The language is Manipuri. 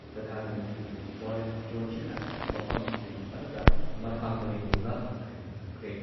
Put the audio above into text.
ꯄ꯭ꯔꯙꯥꯟ ꯃꯟꯇ꯭ꯔꯤ ꯕꯣꯔꯤꯁ ꯖꯣꯟꯁꯟꯅ ꯃꯐꯝꯁꯤꯡ ꯑꯗꯨꯗ ꯃꯊꯥꯡ ꯃꯔꯤ ꯂꯩꯕ ꯑꯊꯤꯡꯕ ꯊꯝꯈ꯭ꯔꯦ ꯫